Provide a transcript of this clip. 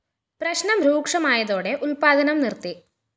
പ്രശ്‌നം രൂക്ഷമായതോടെ ഉല്‍പാദനം നിര്‍ത്തി